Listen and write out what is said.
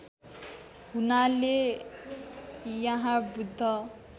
हुनाले यहाँ बुद्ध